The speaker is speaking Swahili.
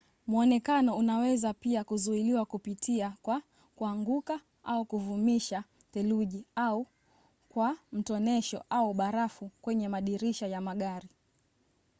mwonekano unaweza pia kuzuiliwa kupitia kwa kuanguka au kuvumisha theluji au kwa mtonesho au barafu kwenye madirisha ya magari